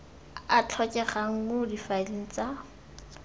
a tlhokegang mo difaeleng tsa